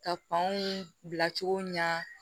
Ka fanw bila cogo ɲɛ